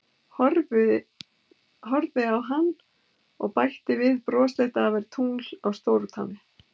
Horfði á hann og bætti við brosleit að það væri tungl á stórutánni.